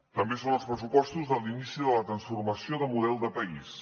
també són els pressupostos de l’inici de la transformació de model de país